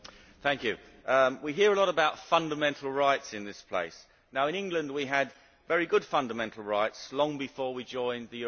We hear a lot about fundamental rights in this place. In England we had very good fundamental rights long before we joined the European Union.